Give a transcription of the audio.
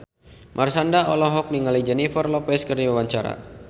Marshanda olohok ningali Jennifer Lopez keur diwawancara